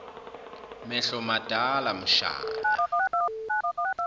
mehlo madala mshana